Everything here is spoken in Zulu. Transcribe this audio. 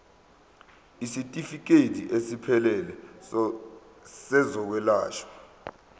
isitifikedi esiphelele sezokwelashwa